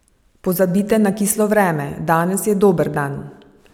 Pozabite na kislo vreme, danes je dober dan!